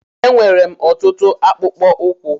Enwèrè m ọtụtụ akpụkpọ ụkwụ